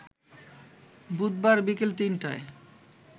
বুধবার বিকেল ৩টায়